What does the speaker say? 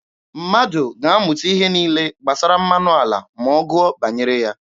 Mmadụ ga-amụta ihe niile gbasara mmanụ ala ma ọ gụọ banyere ha.